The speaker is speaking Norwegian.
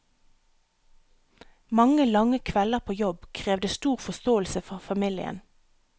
Mange, lange kvelder på jobb krevde stor forståelse fra familien.